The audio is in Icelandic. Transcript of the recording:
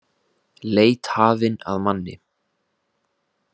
Leit hafin að manni